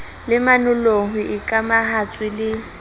le manollong ho ikamahantswe le